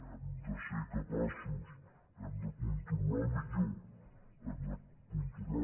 hem de ser capaços hem de controlar millor hem de controlar